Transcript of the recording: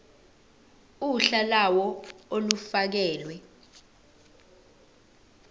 uhla lawo olufakelwe